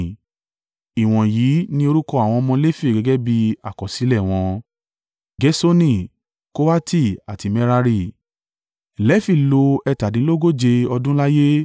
Ìwọ̀nyí ni orúkọ àwọn ọmọ Lefi gẹ́gẹ́ bí àkọsílẹ̀ wọn: Gerṣoni, Kohati àti Merari. Lefi lo ẹ̀tàdínlógóje (137) ọdún láyé.